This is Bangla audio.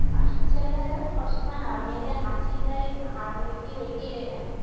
ছেলেরা জানো সব সময় হা মেয়েদের হাসি টাই হা র কেড়ে কেড়ে নেয়